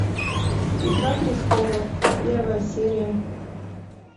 игра престолов первая серия